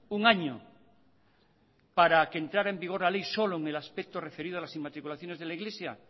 un año para que entrara en vigor la ley solo en el aspecto referido a las inmatriculaciones de la iglesia